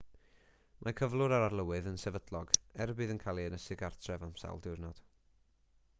mae cyflwr yr arlywydd yn sefydlog er y bydd yn cael ei ynysu gartref am sawl diwrnod